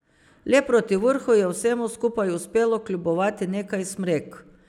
Le proti vrhu je vsemu skupaj uspelo kljubovati nekaj smrek.